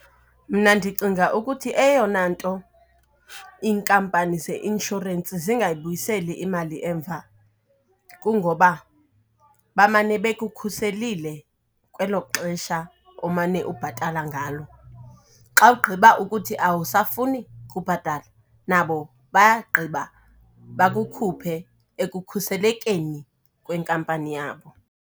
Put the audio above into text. Mna ndicinga ukuthi eyona nto iinkampani ze-insurance zingayibuyiseli imali emva kungoba bamane bekukhuselile kwelo xesha omane ubhatala ngalo. Xa ugqiba ukuthi awusafuni kubhatala nabo bayagqiba bakukhuphe ekukhuselekeni kwenkampani yabo.